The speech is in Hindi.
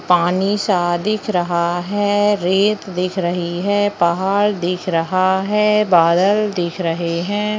पानी सा दिख रहा है रेत दिख रही है पहाड़ दिख रहा है बादल दिख रहे है।